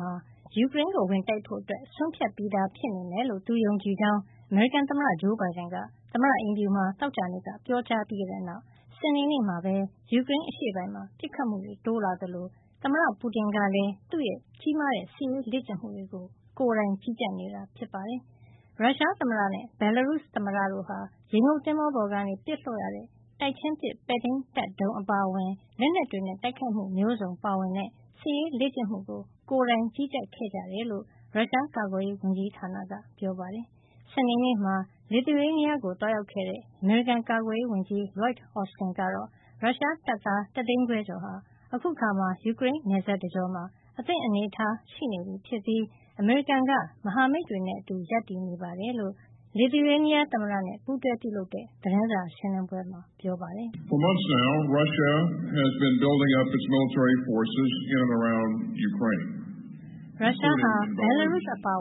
ဟာ ယူကရိန်းကို ဝင်တိုက်ဖို့ ဆုံးဖြတ်ထားပြီး ဖြစ်နေမယ်လို့ သူယုံကြည်ကြောင်း အမေရိကန်သမ္မတ ဂျိုးဘိုင်ဒန်က သမ္မတအိမ်ဖြူမှာ သောကြာနေ့က ပြောကြားခဲ့ပြီးတဲ့နောက် စနေနေ့မှာပဲ ယူကရိန်းအရှေ့ပိုင်းမှာ ပစ်ခတ်မှုတွေ တိုးလာသလို သမ္မတ Putin ကလည်း သူ့ရဲ့ ကြီးမားတဲ့ စစ်ရေးလေ့ကျင့်မှုတွေကို ကိုယ်တိုင်ကြီးကြပ်နေတာ ဖြစ်ပါတယ်။ ရုရှားသမ္မတနဲ့ ဘယ်လ်လာရုစ် သမ္မတတို့ဟာ ရေငုပ်သင်္ဘောပေါ်ကနေ ပစ်လွှတ်ရတဲ့ တိုက်ချင်းပစ် ပဲ့ထိန်းတပ်ဒုံး အပါအဝင် လက်နက်တွေနဲ့ တိုက်ခိုက်မှုမျိုးစုံ ပါဝင်တဲ့ စစ်ရေးလေ့ကျင့်မှုကို ကိုယ်တိုင် ကြီးကြပ်ခဲ့ကြတယ်လို့ ရုရှားကာကွယ်ရေး ဝန်ကြီးဌာနက ပြောပါတယ်။ စနေနေ့မှာ လစ်သူယေးနီးယားကို သွားရောက်ခဲ့တဲ့ အမေရိကန် ကာကွယ်ရေးဝန်ကြီး Lloyd Austin ကတော့ ရုရှားတပ်သား ၁ သိန်းခွဲကျော်ဟာ အခုအခါမှာ ယူကရိန်းနယ်စပ်တကျောမှာ အသင့်အနေထား ရှိနေပြီဖြစ်ပြီး အမေရိကန်က မဟာမိတ်တွေနဲ့အတူ ရပ်တည်ကြောင်း လစ်သူယေးနီးယားသမ္မတ Gitanas Nauseda နဲ့ ပူးတွဲပြုလုပ်တဲ့ သတင်းစာရှင်းလင်းပွဲမှာ ပြောပါတယ်။ “ရုရှားဟာ ဘယ်လ်လာရုစ် အပါအ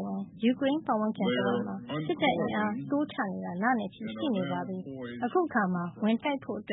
ဝင် ယူကရိန်းပတ်ဝန်းကျင် တဝိုက်မှာ စစ်တပ်အင်အား တိုးချနေတာ လနဲ့ချီ ရှိနေပါပြီ။ အခုအခါမှာ ဝင်တိုက်ဖို့ အသ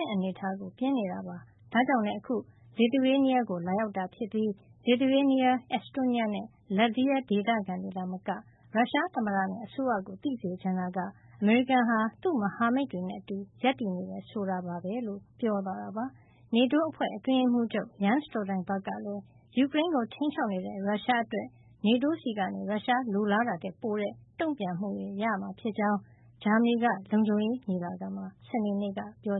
င့်အနေထားကို ပြင်နေတာပါ။ ဒါကြောင့်လည်း အခု လစ်သူယေးနီးယားကို လာရောက်တာဖြစ်ပြီး လစ်သူယေးနီးယား၊ အက်စ်တိုးနီးယားနဲ့ လတ်ဗီးယား ဒေသခံတွေသာမက ရုရှားသမ္မတနဲ့ အစိုးရကို သိစေချင်တာက အမေရိကန်ဟာ သူ့မဟာမိတ်တွေနဲ့အတူ ရပ်တည်နေတယ် ဆိုတာပါပဲ။” လို့ ပြောသွားတာပါ။ NATO အဖွဲ့ အတွင်းရေးမှူးချုပ် Jens Stoltenberg ကလည်း ယူကရိန်းကို ခြိမ်းခြောက်နေတဲ့ ရုရှားအတွက် NATO ဆီက ရုရှားလိုလားတာထက် ပိုတဲ့ တုံ့ပြန်မှုတွေ ရမှာဖြစ်ကြောင်း ဂျာမနီက လုံခြုံရေးညီလာခံမှာ စနေနေ့က ပြော